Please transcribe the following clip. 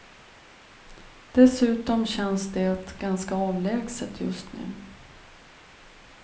Dessutom känns det ganska avlägset just nu.